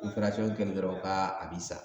kɛlen do ka a bi sa.